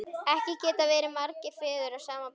Ekki geta verið margir feður að sama barni!